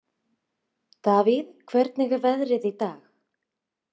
Davíð, hvernig er veðrið í dag?